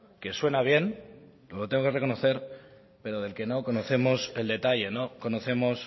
que suena bien lo tengo que reconocer pero del que no conocemos el detalle no conocemos